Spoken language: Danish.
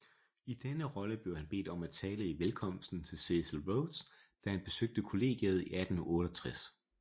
I denne rolle blev han bedt om at tale i velkomsten til Cecil Rhodes da han besøgte colleget i 1868